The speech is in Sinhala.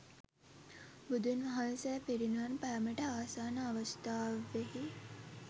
බුදුන් වහන්සේ පිරිනිවන් පෑමට ආසන්න අවස්ථාවෙහි